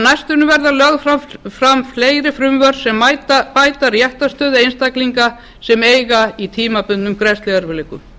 næstunni verða lögð fram fleiri frumvörp sem bæta réttarstöðu einstaklinga sem eiga í tímabundnum greiðsluerfiðleikum